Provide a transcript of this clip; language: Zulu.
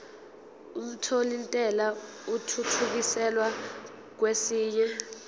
omthelintela athuthukiselwa kwesinye